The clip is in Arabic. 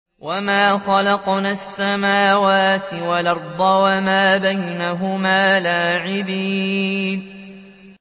وَمَا خَلَقْنَا السَّمَاوَاتِ وَالْأَرْضَ وَمَا بَيْنَهُمَا لَاعِبِينَ